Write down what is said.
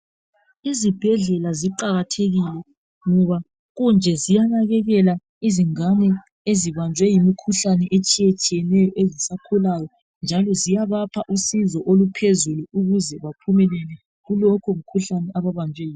Izibhedlela ziqakathekile ngoba kunje ziyanakekela izingane ezibanjwe yimikhuhlane etshiyetshiyeneyo ezisakhulayo. Njalo ziyabapha usizo oluphezulu ukuze baphumelele kulokho mkhuhlani ababanjwe yiwo.